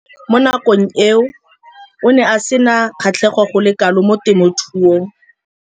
Mo nakong eo o ne a sena kgatlhego go le kalo mo temothuong.